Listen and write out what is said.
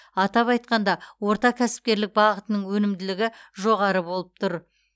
атап айтқанда орта кәсіпкерлік бағытының өнімділігі жоғары болып тұр